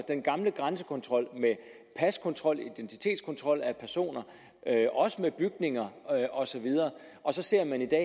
den gamle grænsekontrol med paskontrol identitetskontrol af personer med bygninger og så videre og så ser man i dag